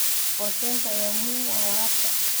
Qorshaynta ayaa muhiim u ah waraabka.